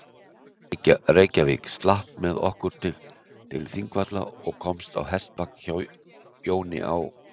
Reykjavík, skrapp með okkur til Þingvalla og komst á hestbak hjá Jóni á